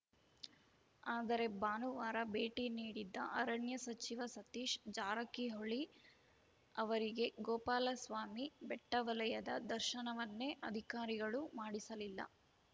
ಆದರೆ ಭಾನುವಾರ ಭೇಟಿ ನೀಡಿದ್ದ ಅರಣ್ಯ ಸಚಿವ ಸತೀಶ್‌ ಜಾರಕಿಹೊಳಿ ಅವರಿಗೆ ಗೋಪಾಲಸ್ವಾಮಿ ಬೆಟ್ಟವಲಯದ ದರ್ಶನವನ್ನೇ ಅಧಿಕಾರಿಗಳು ಮಾಡಿಸಲಿಲ್ಲ